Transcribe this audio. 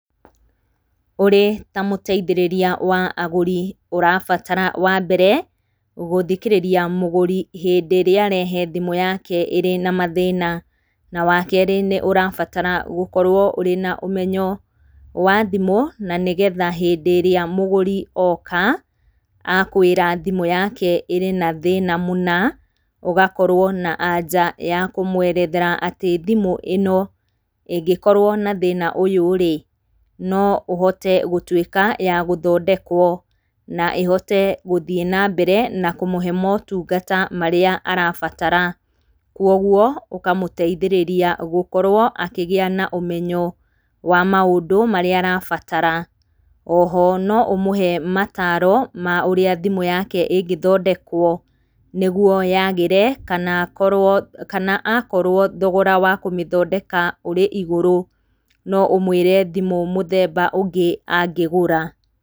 Ũrĩ ta mũteithĩrĩria wa agũri ũrabatara wa mbere, gũthikĩrĩria mũgũri hĩndĩ ĩrĩa arehe thimũ yake ĩrĩ na mathĩna, na wa kerĩ, ũrabatara gũkorwo ũrĩ na ũmenyo wa thimũ, na nĩgetha hĩndĩ ĩrĩa mugũri oka akwĩra thimũ yake ĩrĩ na thĩna mũna, ũgakorwo na anja ya kũmwerethera atĩ thimũ ĩno ĩngĩkorwo na thĩna ũyũ-rĩ, no ũhote gũtuĩka ya gũthondekwo na ĩhote gũthiĩ na mbere na kũmũhe motungata marĩa arabatara. Kũoguo ũkamũteithĩrĩria gũkorwo akĩgĩa na ũmenyo wa maũndũ marĩa arabatara. O ho no ũmũhe mataro ma ũrĩa thimũ yake ĩngĩthondekwo, nĩguo yagĩre kana akorwo thogora wa kũmĩthondeka ũrĩ igũrũ, no ũmwĩre thimũ mũthemba ũngĩ angĩgũra.